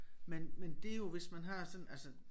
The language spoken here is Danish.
Men men det jo hvis man har sådan altså